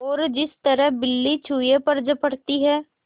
और जिस तरह बिल्ली चूहे पर झपटती है